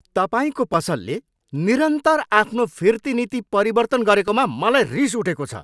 तपाईँको पसलले निरन्तर आफ्नो फिर्ती नीति परिवर्तन गरेकोमा मलाई रिस उठेको छ।